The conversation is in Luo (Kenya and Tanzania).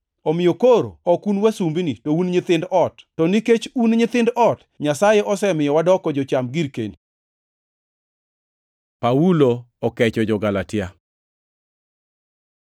Omiyo koro ok un wasumbini, to un nyithind ot, to nikech un nyithind ot, Nyasaye osemiyo wadoko jocham girkeni. Paulo okecho jo-Galatia